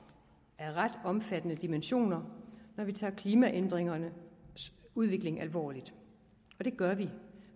af ret omfattende dimensioner når vi tager klimaændringernes udvikling alvorligt og det gør vi